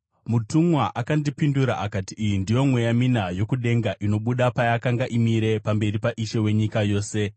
Mutumwa akandipindura akati, “Iyi ndiyo mweya mina yokudenga, inobuda payakanga imire pamberi paIshe wenyika yose.